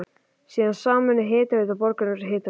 Síðan sameinuðust Hitaveita Borgarness og Hitaveita